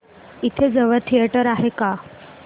इथे जवळ थिएटर आहे का